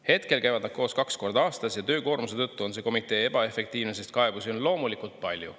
Hetkel käivad nad koos kaks korda aastas ja töökoormuse tõttu on see komitee ebaefektiivne, sest kaebusi on loomulikult palju.